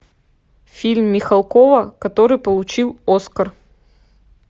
фильм михалкова который получил оскар